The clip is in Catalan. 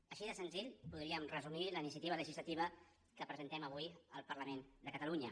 així de senzill podríem resumir la iniciativa legislativa que presentem avui al parlament de catalunya